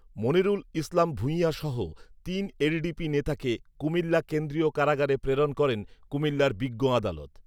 মনিরুল ইসলাম ভূঁইয়া সহ তিন এলডিপি নেতাকে কুমিল্লা কেন্দ্রীয় কারাগারে প্রেরণ করেন কুমিল্লার বিজ্ঞ আদালত